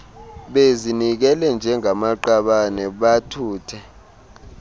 bezinikele njengamaqabane bathuthe